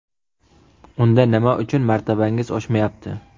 Unda nima uchun martabangiz oshmayapti?